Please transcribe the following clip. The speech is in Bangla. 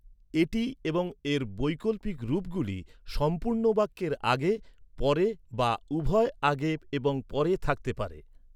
এটি এবং এর বৈকল্পিক রূপগুলি সম্পূর্ণ বাক্যের আগে, পরে বা উভয় আগে এবং পরে থাকতে পারে।